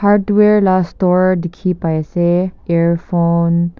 Hardware la store dekhey pai ase earphone --